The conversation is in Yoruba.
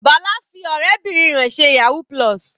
Bala fi ọ̀rẹ́bìnrin rẹ̀ ṣe yahoo+.